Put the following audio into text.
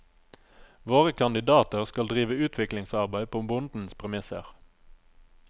Våre kandidater skal drive utviklingsarbeid på bondens premisser.